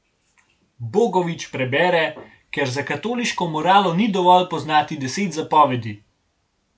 Bogovič prebere, ker za katoliško moralo ni dovolj poznati deset zapovedi.